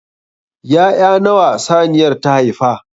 Ya'ya nawa saniyar ta haifa?